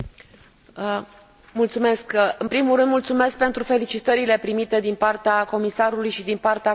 În primul rând, mulțumesc pentru felicitările primite din partea comisarului și din partea colegilor și a grupurilor politice.